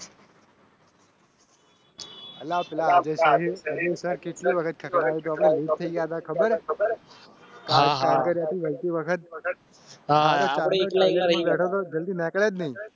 હા હા